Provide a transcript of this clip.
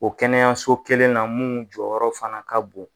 O kɛnɛyaso kelen na mun jɔyɔrɔ fana ka bon.